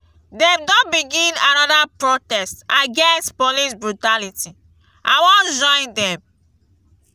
dem don begin anoda protest against police brutality i wan join dem.